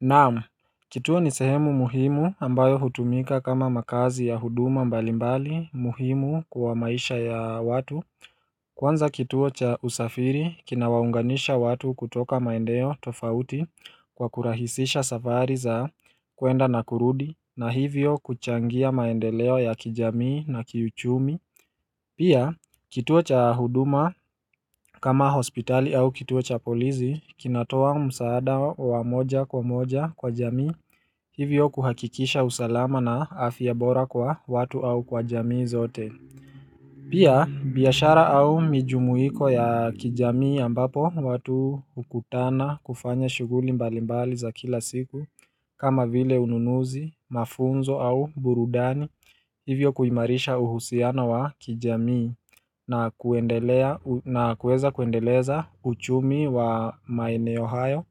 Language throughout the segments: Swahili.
Naam kituo ni sehemu muhimu ambayo hutumika kama makazi ya huduma mbalimbali muhimu kwa maisha ya watu Kwanza kituo cha usafiri kina waunganisha watu kutoka maendeo tofauti kwa kurahisisha safari za kuenda na kurudi na hivyo kuchangia maendeleo ya kijamii na kiuchumi Pia kituo cha huduma kama hospitali au kituo cha polizi kinatoa msaada wa moja kwa moja kwa jamii Hivyo kuhakikisha usalama na afyabora kwa watu au kwa jamii zote Pia biashara au mijumuiko ya kijamii ambapo watu ukutana kufanya shuguli mbalimbali za kila siku kama vile ununuzi, mafunzo au burudani Hivyo kuimarisha uhusiano wa kijamii na kuweza kuendeleza uchumi wa maeneo hayo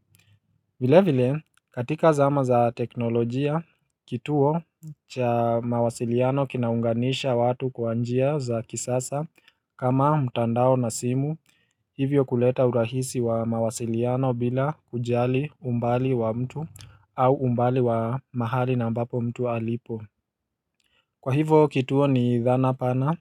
vile vile katika zama za teknolojia kituo cha mawasiliano kinaunganisha watu kwa njia za kisasa kama mtandao na simu hivyo kuleta urahisi wa mawasiliano bila ujali umbali wa mtu au umbali wa mahali na ambapo mtu alipo Kwa hivo kituo ni idhana pana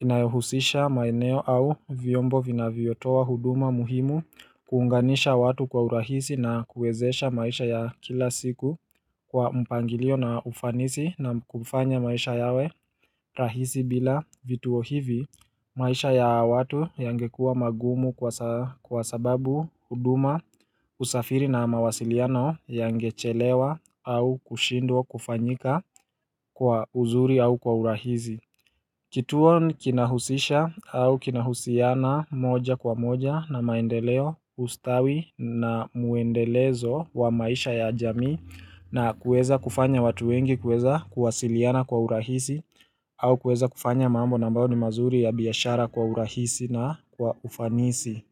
inayohusisha maeneo au vyombo vina viyotoa huduma muhimu kuunganisha watu kwa urahisi na kuwezesha maisha ya kila siku kwa mpangilio na ufanisi na kufanya maisha yawe rahisi bila vituo hivi maisha ya watu yangekuwa magumu kwa sababu huduma usafiri na mawasiliano yangechelewa au kushindwa kufanyika kwa uzuri au kwa urahizi. Kituo ni kinahusisha au kinahusiana moja kwa moja na maendeleo ustawi na muendelezo wa maisha ya jamii na kueza kufanya watu wengi kueza kuwasiliana kwa urahisi au kueza kufanya mambo na ambao ni mazuri ya biyashara kwa urahisi na kwa ufanisi.